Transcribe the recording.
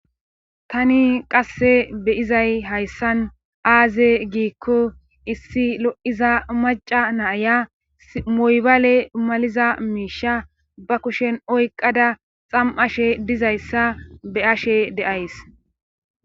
tani qasse beyizay hayssan aaze giikko issi lo7iza maca naaya moybaale maliza miisha ba kushen oyqada xam7ashe dizayssa be ashe deays